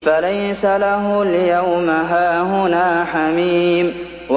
فَلَيْسَ لَهُ الْيَوْمَ هَاهُنَا حَمِيمٌ